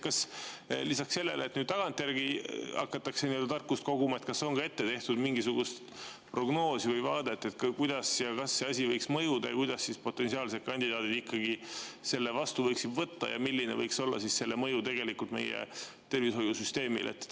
" Kas lisaks sellele, et tagantjärgi hakatakse nii-öelda tarkust koguma, on tehtud ka mingisugune prognoos või on olemas vaade, kuidas ja kas see asi võiks mõjuda, kuidas siis potentsiaalsed kandidaadid ikkagi selle vastu võiks võtta ja milline võiks olla selle tegelik mõju meie tervishoiusüsteemile?